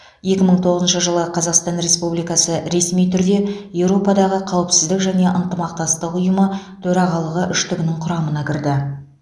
екі мың тоғызыншы жылы қазақстан республикасы ресми түрде еуропадағы қауіпсіздік және ынтымақтастық ұйымы төрағалары үштігінің құрамына кірді